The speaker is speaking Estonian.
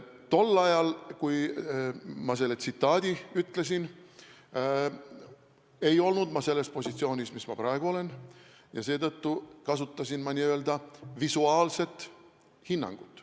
Tol ajal, kui ma selle tsitaadi ütlesin, ei olnud ma selles positsioonis, kus ma praegu olen, seetõttu kasutasin n-ö visuaalset hinnangut.